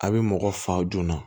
A bɛ mɔgɔ fa joona